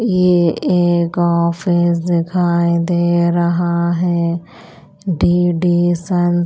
ये एक ऑफिस दिखाई दे रहा है डी _डी सन --